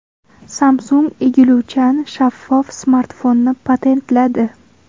Samsung egiluvchan shaffof smartfonni patentladi.